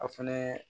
A fɛnɛ